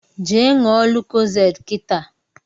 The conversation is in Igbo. Je ṅụọ Lokozade kịta